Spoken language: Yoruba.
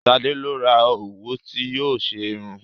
Sadé lọ ra òwú tí yóò fi ṣe irun